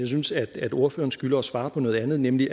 synes at ordføreren skylder at svare på noget andet nemlig